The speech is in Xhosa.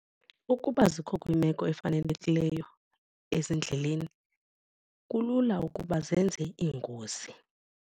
Ukuba zikho kwiimeko efanelekileyo ezindleleni kulula ukuba zenze iingozi.